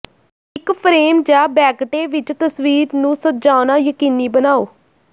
ਇੱਕ ਫਰੇਮ ਜਾਂ ਬੈਗਟੇ ਵਿੱਚ ਤਸਵੀਰ ਨੂੰ ਸਜਾਉਣਾ ਯਕੀਨੀ ਬਣਾਓ